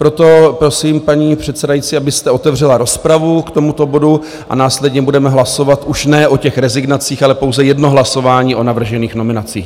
Proto prosím, paní předsedající, abyste otevřela rozpravu k tomuto bodu, a následně budeme hlasovat už ne o těch rezignacích, ale pouze jedno hlasování o navržených nominacích.